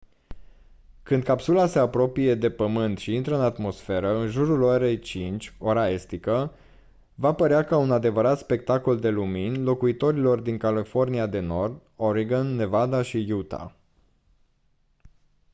când capsula se apropie de pământ și intră în atmosferă în jurul orei 5:00 ora estică va părea ca un adevărat spectacol de lumini locuitorilor din california de nord oregon nevada și utah